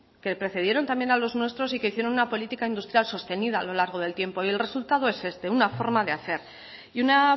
que precedieron también a los nuestros y que hicieron una política industrial sostenida a lo largo del tiempo y el resultado es este una forma de hacer y una